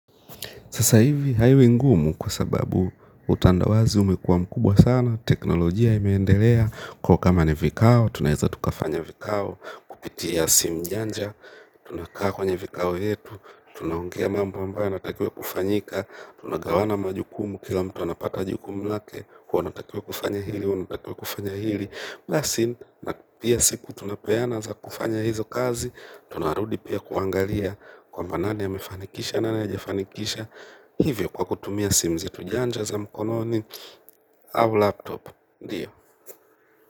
Sasa hivi hali ni ngumu kwa sababu utandawazi umekuwa mkubwa sana, teknolojia imeendelea, kwa kama ni vikao, tunaeza tukafanya vikao kupitia simu janja, tunakaa kwenye vikao yetu, tunaongea mambo ambayo yanatakiwa kufanyika, tunagawana majukumu kila mtu anapata jukumu lake, huwa natakiwa kufanya hilo, natakiwa kufanya hili. Basi na pia siku tunapeana za kufanya hizo kazi. Tunarudi pia kuangalia kwamba nani amefanikisha nani hajafanikisha hivyo kwa kutumia simu zetu janja za mkononi au laptop ndio.